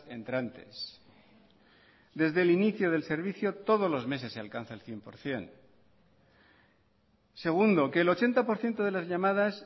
entrantes desde el inicio del servicio todos los meses se alcanza el cien por ciento segundo que el ochenta por ciento de las llamadas